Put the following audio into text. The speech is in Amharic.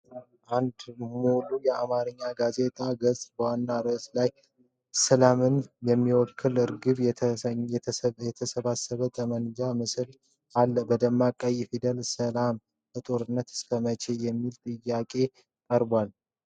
አንድ ሙሉ የአማርኛ ጋዜጣ ገጽ በዋናው ርዕስ ላይ ሰላምን የሚወክል ርግብና የተሰባበረ ጠመንጃ ምስል አለ። በደማቅ ቀይ ፊደላት “ሰላም በጦርነት እስከመቼ!?” የሚል ጥያቄ ቀርቧል።